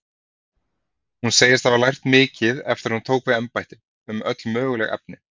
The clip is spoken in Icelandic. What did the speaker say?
Hún segist hafa lært mikið eftir að hún tók við embætti, um öll möguleg efni.